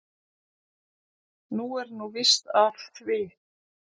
Nú er nú víst af því.